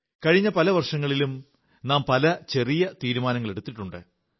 കഴിഞ്ഞ പല വർഷങ്ങളിലും നാം പല ചെറിയ ചെറിയ നിശ്ചയങ്ങളെടുത്തിട്ടുണ്ട്